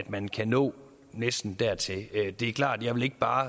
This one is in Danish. man kan nå næsten dertil det er klart at jeg ikke bare